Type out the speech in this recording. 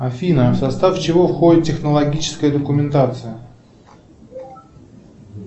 афина в состав чего входит технологическая документация